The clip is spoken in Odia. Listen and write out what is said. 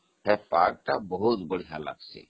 ସେ ପାହାଡ ବହୁତ ସୁନ୍ଦର ଜାଗା